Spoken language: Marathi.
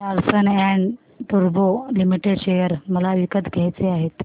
लार्सन अँड टुर्बो लिमिटेड शेअर मला विकत घ्यायचे आहेत